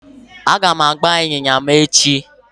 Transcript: Aga m agba ịnyịnya m echi